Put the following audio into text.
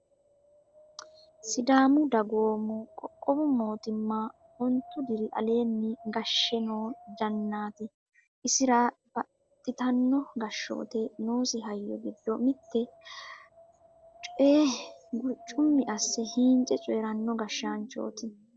Sidaamu Dagoomu qoqqowu mootimma ontu diri aleeni gashshe no jannati isira baxxittano gashshate noosi hayyo giddo mite coye guricumi asse hiince coyrano gashshaanchoti.